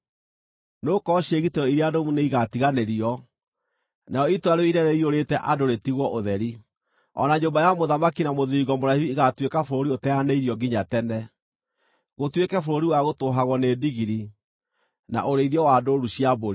Nĩgũkorwo ciĩgitĩro iria nũmu nĩigatiganĩrio, narĩo itũũra rĩu inene rĩiyũrĩte andũ rĩtigwo ũtheri; o na nyũmba ya mũthamaki na mũthiringo mũraihu igaatuĩka bũrũri ũteanĩirio nginya tene, gũtuĩke bũrũri wa gũtũũhagwo nĩ ndigiri, na ũrĩithio wa ndũũru cia mbũri,